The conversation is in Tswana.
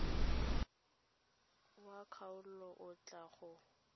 wa kgaolo o tla go